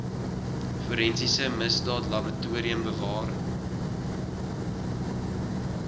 forensiese misdaadlaboratorium bewaar